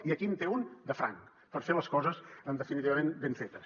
i aquí en té un de franc per fer les coses definitivament ben fetes